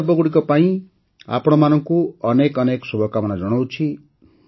ଏହି ପର୍ବଗୁଡ଼ିକ ପାଇଁ ଆପଣମାନଙ୍କୁ ଅନେକ ଅନେକ ଶୁଭକାମନା ଜଣାଉଛି